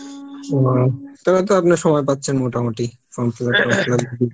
ও, তাহলে তো আপনার সময় পাচ্ছেন মোটামুটি form fillup টর্ম fillup